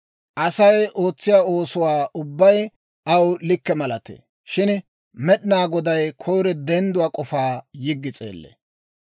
Asay ootsiyaa oosuwaa ubbay aw likke malatee; shin Med'inaa Goday koyiro dendduwaa k'ofaa yiggi s'eellee.